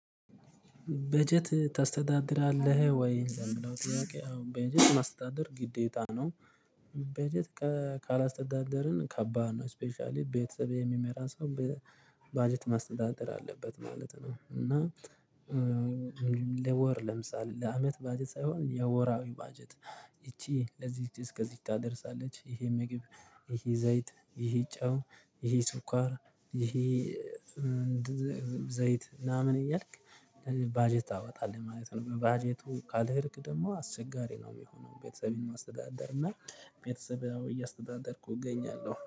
በጀት ታስተዳደርለህ ወይ? ለሚለው ጥያቄ አዎ በጀት ማስተዳደር ግዴታ ነው። በጀት ካላስተዳደርን ከባድ ነው። ስፔሻሊ ቤተሰቤ የሚመራ ሰው በባጀት ማስተዳደር አለበት ማለት ነው። እና ለወር ለምሳሌ ለአመት ባጀት ሳይሆን የወራዊ በጀት ይቺ ለዚህ እስከዚህ ታደርሳለች። ይሄ ምግብ ይሄ ዘይት ይሄ ጨው ይሄ ስኳር ይሄ ዘይት ምናምን እያልክ ባጀት ታወጣለህ ማለት ነው። ባጀቱ ካልሄድክ ደግሞ አስቸጋሪ ነው የሚሆነው። ቤተሰቤን ማስተዳደር እና ቤተሰብአዊ እያስተዳደርኩ እገኛለሁ